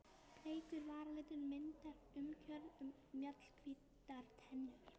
Bleikur varalitur myndar umgjörð um mjallhvítar tennur.